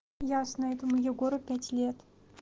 ясно этому егору пять лет